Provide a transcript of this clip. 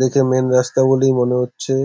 দেখে মেন রাস্তা বলেই মনে হচ্ছে।